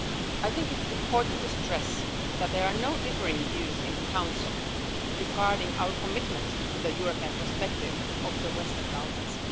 I think it's important to stress that there are no differing views in the Council regarding our commitment to the European perspective of the Western Balkans.